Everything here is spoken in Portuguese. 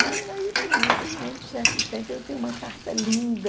E aí pronto, durante certo tempo eu tenho uma carta linda,